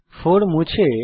4 মুছে ফেলুন